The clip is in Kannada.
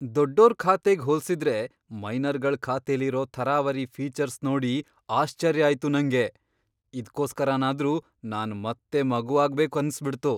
ದೊಡ್ಡೋರ್ ಖಾತೆಗ್ ಹೋಲ್ಸಿದ್ರೆ ಮೈನರ್ಗಳ್ ಖಾತೆಲಿರೋ ಥರಾವರಿ ಫೀಚರ್ಸ್ ನೋಡಿ ಆಶ್ಚರ್ಯ ಆಯ್ತು ನಂಗೆ, ಇದ್ಕೋಸ್ಕರನಾದ್ರೂ ನಾನ್ ಮತ್ತೆ ಮಗುವಾಗ್ಬೇಕು ಅನ್ಸ್ಬಿಡ್ತು.